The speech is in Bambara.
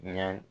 Ɲɛ